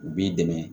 U b'i dɛmɛ